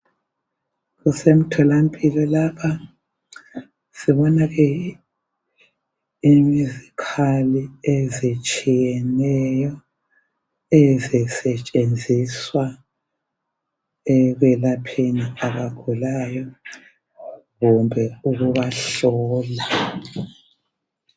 kusemtholampilo lapha sibona ke izikhali ezitshiyeneyo ezisetshenziswa ekwelapheni abagulayo kumbe ukubahlola